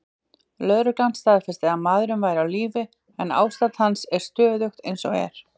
Lögreglan staðfesti að maðurinn væri á lífi, en ástand hans er stöðugt eins og er.